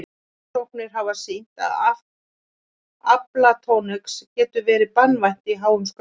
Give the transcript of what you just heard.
Rannsóknir hafa sýnt að aflatoxín getur verið banvænt í háum skömmtum.